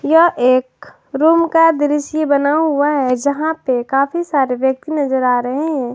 यह एक रूम का दृश्य बना हुआ है यहां पे काफी सारे व्यक्ति नजर आ रहे हैं।